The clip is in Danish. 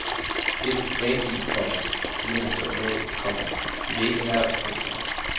Det er det sædvanlige, komma siger han sørgmodigt, komma de vil ikke ha os. punktum